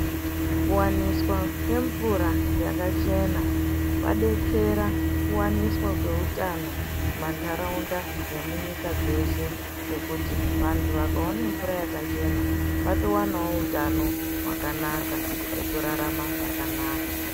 Kuwaniswa kwemvura yakachena kwabatsira kuwaniswa kweutano mumantaraunda nemunyika dzeshe ngekuti vantu vakaone mvura yakachena vantowanawo hutano hwakanaka hwekurarama zvakanaka.